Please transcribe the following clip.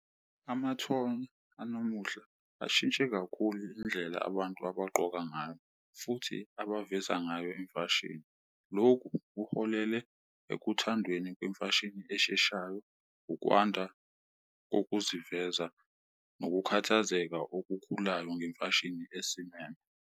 Amathonya anamuhla ashintshe kakhulu indlela abantu abagqoka ngayo futhi abaveza ngayo imfashini, lokhu kuholele ekuthandweni kwemfashini esheshayo, ukwanda kokuziveza nokukhathazeka okukhulayo ngemfashini esimeme.